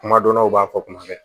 Kuma dɔ la u b'a fɔ kuma bɛɛ